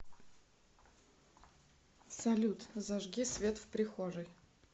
салют зажги свет в прихожей